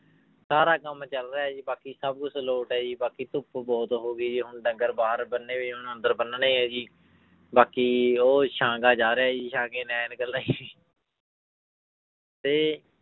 ਸਾਰਾ ਕੰਮ ਚੱਲ ਰਿਹਾ ਹੈ ਜੀ ਬਾਕੀ ਸਭ ਕੁਛ ਲੋਟ ਹੈ ਜੀ ਬਾਕੀ ਧੁੱਪ ਬਹੁਤ ਹੋ ਗਈ ਜੀ ਹੁਣ ਡੰਗਰ ਬਾਹਰ ਬੰਨੇ ਹੋਏ, ਹੁਣ ਅੰਦਰ ਬੰਨਣੇ ਹੈ ਜੀ ਬਾਕੀ ਉਹ ਸਾਂਘਾ ਜਾ ਰਿਹਾ ਜੀ ਸਾਂਘੇ ਨੇ ਐਨਕਾਂ ਲਾਈਆਂ ਤੇ